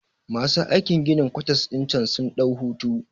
Masu aikin ginin kwatas ɗin cen sun ɗau hutu